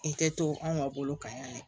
I kɛ to anw ma bolo kan yan de